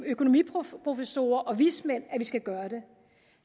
økonomiprofessorer og vismænd at vi skal gøre det